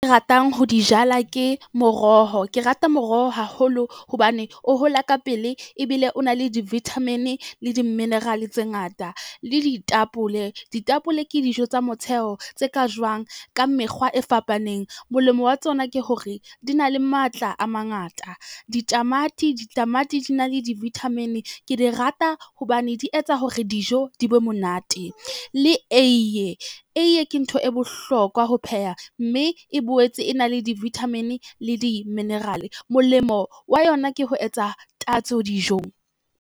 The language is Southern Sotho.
Ratang ho di jala ke moroho, ke rata moroho haholo hobane o hola ka pele ebile o na le di-vitamin, le di-mineral tse ngata. Le ditapole, ditapole ke dijo tsa motheo tse ka jowang ka mekgwa e fapaneng, molemo wa tsona ke hore di na le matla a mangata. Ditamati, ditamati di na le di-vitamin, ke di rata hobane di etsa hore dijo di be monate le eiye, eiye ke ntho e bohlokwa ho pheha mme e boetse e na le di-vitamin le di-mineral. Molemo wa yona ke ho etsa tatso dijong.